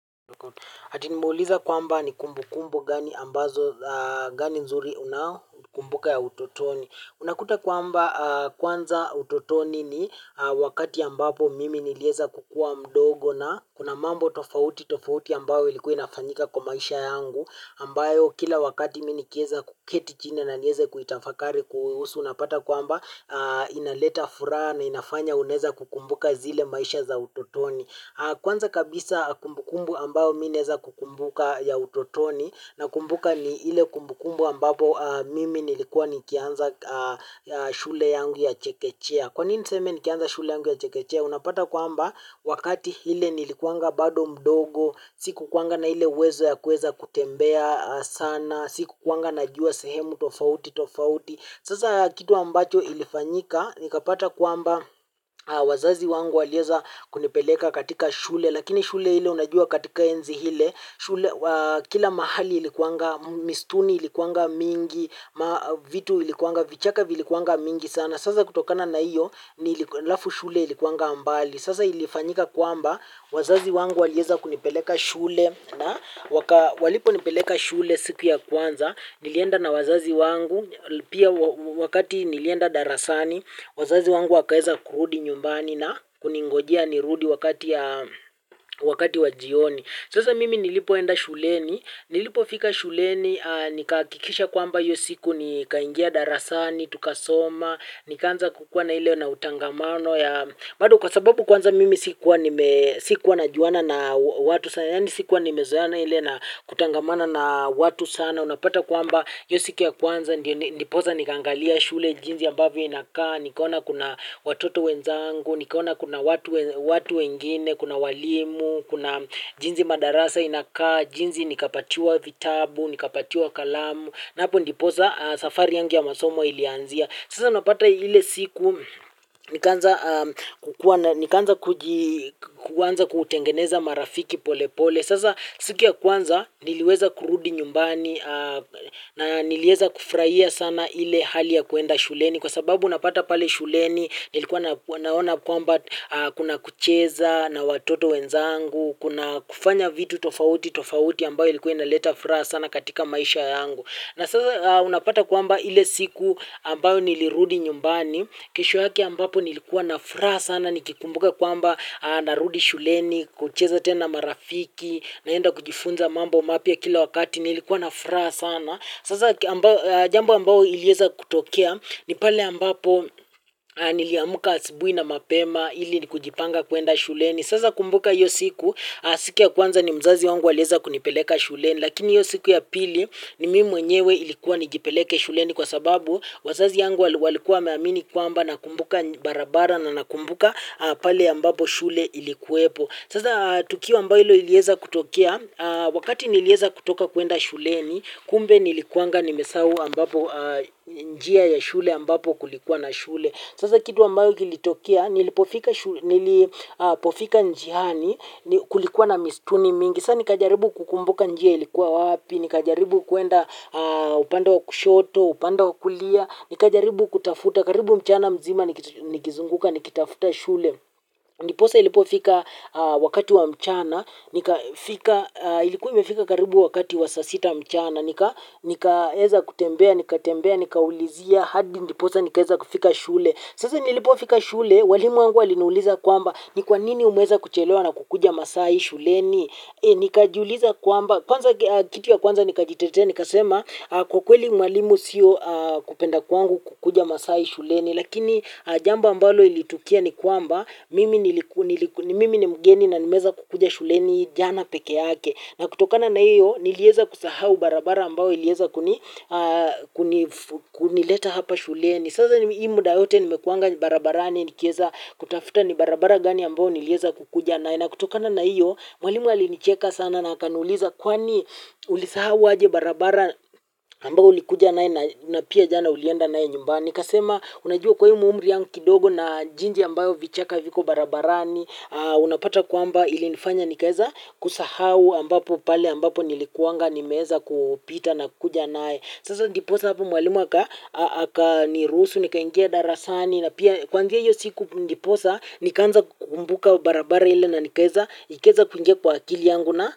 Ati nimeuliza kwamba ni kumbu kumbu gani nzuri ambazo unazokumbuka za utotoni. Unakuta kwamba kwanza utotoni ni wakati ambapo mimi nilieza kukua mdogo na kuna mambo tofauti tofauti ambayo ilikua inafanyika kwa maisha yangu. Ambayo kila wakati mimi nikiweza kuketi chini na niweze kutafakari kuihusu unapata kwamba inaleta furaha na inafanya unaweza kukumbuka zile maisha za utotoni. Kwanza kabisa kumbukumbu ambayo mimi naeza kukumbuka ya utotoni nakumbuka ni ile kumbukumbu ambapo mimi nilikuwa nikianza shule yangu ya chekechea. Kwanini niseme nikianza shule yangu ya chekechea? Unapata kwamba wakati ule nilikuanga bado mdogo, sikukua na ile uwezo ya kueza kutembea sana, sikukua najua sehemu tofauti tofauti. Sasa kitu ambacho ilifanyika, nikapata kwamba wazazi wangu waliweza kunipeleka katika shule, lakini shule ile unajua katika enzi ile kila mahali ilikuanga, misitu ilikuanga mingi, vitu ilikuanga, vichaka vilikuanga mingi sana. Sasa kutokana na iyo, alafu shule ilikuanga mbali. Sasa ilifanyika kwamba wazazi wangu waliweza kunipeleka shule. Na walipo nipeleka shule siku ya kwanza, nilienda na wazazi wangu, pia wakati nilienda darasani, wazazi wangu wakaeza kurudi nyumbani na kuningojea nirudi wakati wa jioni. Sasa mimi nilipoenda shuleni, nilipo fika shuleni, nikahakikisha kwamba hiyo siku nikaingia darasani, tukasoma, nikanza kukua na ileo na utangamano bado kwa sababu kwanza mimi sikuwa na juana na watu sana, yaani sikuwa nimezoeana ile na kutangamana na watu sana, unapata kwamba hio siku ya kwanza, ndiposa nikangalia shule, jinsi ambavyo inakaa, nikaona kuna watoto wenzangu, nikaona kuna watu wengine, kuna walimu, kuna jinsi madarasa inakaa, jinsi nikapatiwa vitabu, nikapatiwa kalamu hapo ndipo safari yangu ya masomo ilianzia. Sasa unapata ile siku nikaanza kuanza kutengeneza marafiki pole pole. Sasa siku ya kwanza niliweza kurudi nyumbani na niliweza kufurahia sana ile hali ya kuenda shuleni. Kwa sababu unapata pale shuleni, nilikuwa naona kwamba kuna kucheza na watoto wenzangu, kuna kufanya vitu tofauti tofauti ambayo ilikuwa inaleta furaha sana katika maisha yangu. Na sasa unapata kwamba ile siku ambayo nilirudi nyumbani, kesho yake ambapo nilikuwa na furaha sana, nikikumbuka kwamba narudi shuleni, kucheza tena marafiki, naenda kujifunza mambo mapya kila wakati, nilikuwa na furaha sana. Sasa jambo ambalo lilieza kutokea ni pale ambapo niliamka asubuhi na mapema ili kujipanga kuenda shuleni. Sasa kumbuka hiyo siku ya kwanza ni mzazi wangu alieza kunipeleka shuleni. Lakini hiyo siku ya pili ni mimi mwenyewe ilikuwa nijipeleke shuleni kwa sababu wazazi yangu walikuwa wameamini kwamba nakumbuka barabara na nakumbuka pale ambapo shule ilikuepo. Sasa tukio mbalo liilieza kutoea, wakati nilieza kutoka kwenda shuleni, kumbe nilikuanga nimesahau njia ya shule ambapo kulikuwa na shule. Sasa kitu ambayo ilitokea, nilipofika njiani kulikuwa na misitu mingi. Sasa nikajaribu kukumbuka njia ilikuwa wapi, nikajaribu kuenda upande wa kushoto, upande wa kulia, nikajaribu kutafuta, karibu mchana mzima nikizunguka nikitafuta shule. Ndiposa ilipofika wakati wa mchana, ilikuwa imefika karibu wakati wa saa sita mchana, nikaeza kutembea, nikaulizia, hadi ndiposa nikaeza kufika shule. Sasa nilipofika shule, walimu wangu walinuliza kwamba, ni kwanini umeweza kuchelewa na kukuja masaa hii shuleni? Nikajiuliza kwamba, kwanza kitu ya kwanza nikajitetea, nikasema kwa kweli mwalimu sio kupenda kwangu kukuja masaa hii shuleni. Lakini jambo mbalo ilitokea ni kwamba mimi ni mgeni na nimeanza kukuja shuleni jana peke yake. Na kutokana na hiyo nilieza kusahau barabara ambao ilieza kunileta. Hapa shuleni. Saza hii muda yote nimekua barabarani nikieza kutafuta ni barabara gani ambayo nilieza kukuja nayo. Na kutokana na hiyo mwalimu alinicheka sana na akanuliza kwani uli sahau waje barabara ambao ulikuja nayo na pia jana ulienda nayo nyumbani? Nikasema unajua kwa hii umri yangu kidogo na jinsi ambayo vichaka viko barabarani. Unapata kwamba ilinifanya nikaeza kusahau pale ambapo nilikuanga nimeweza kupita na kuja nayo. Sasa njiposa hapo mwalimu akanirusu, nikaingia darasani na pia kunzia hiyo siku ndiposa nikaanza kukumbuka barabara ile na nikaweza kuingia kwa akili yangu na.